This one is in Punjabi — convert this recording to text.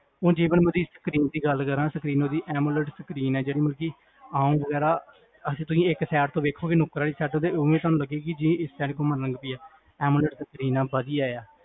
ਓ ਜੀਵਨ ਗਲ ਕਰਾਂ, amolled screen ਹੈ, ਜੇਹੜਾ ਮਤਲਬ, ਅਛਾ ਤੁਸੀਂ ਇਕ side ਤੋਂ ਵੇਖੋਗੇ ਨੁਕਰ ਵਾਲੀ side ਤੋਂ ਵੇਖੋਗੇ ਜੇ ਇਸ side ਘੁੰਮਣ ਲੱਗ ਗਈ ਹੈ, amolled screen ਹੈ, ਵਦੀਆਂ ਹੈ